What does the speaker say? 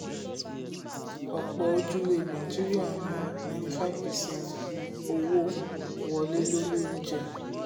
ọ̀pọ̀ ojúlé nàìjíríà ń ná ninety five percent owó wọlé lórí oúnjẹ.